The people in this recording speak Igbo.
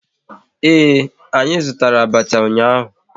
Ee, anyị zụtara abacha ụnyaahụ